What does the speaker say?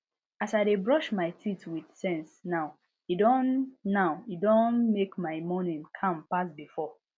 as i dey brush my teeth with sense now e don now e don mek my morning calm pass before